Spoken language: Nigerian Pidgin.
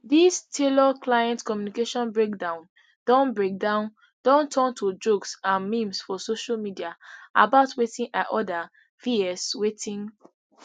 dis tailorclient communication breakdown don breakdown don turn to jokes and memes for social media about wetin i order vs wetin